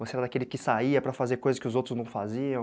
Você era daquele que saía para fazer coisas que os outros não faziam?